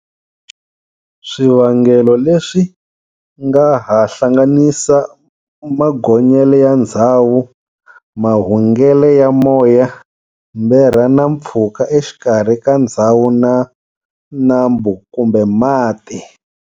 Swi vangelo leswi swi nga ha hlanganisa magonyele ya ndzhawu, mahungele ya moya, mberha na mpfhuka exikarhi ka ndzhawu na nambu kumbe mati.